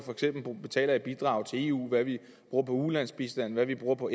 betaler i bidrag til eu hvad vi bruger på ulandsbistand hvad vi bruger på